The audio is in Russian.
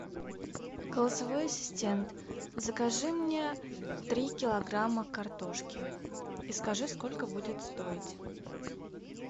голосовой ассистент закажи мне три килограмма картошки и скажи сколько будет стоить